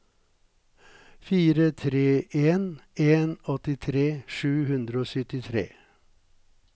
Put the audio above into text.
fire tre en en åttitre sju hundre og syttitre